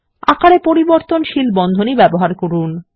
আকারে পরিবর্তনশীল বন্ধনী ব্যবহার করুন